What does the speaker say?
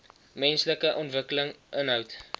menslike ontwikkeling inhoud